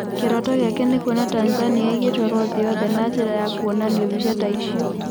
Kĩroto gĩake nĩ kuona Tanzania ĩgĩtwarwo thĩ yothe na njĩra ya kwonania mbica ta icio.